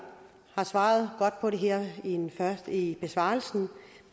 har svaret godt på det her i besvarelsen